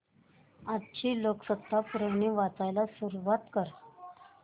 आजची लोकसत्ता पुरवणी वाचायला सुरुवात कर